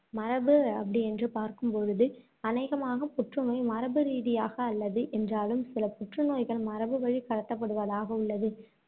மரபு அப்படி என்று பார்க்கும்பொழுது அநேகமாக புற்றுநோய் மரபு ரீதியாக அல்லது என்றாலும், சில புற்றுநோய்கள் மரபு வழி கடத்தப்படுவதாக உள்ளது.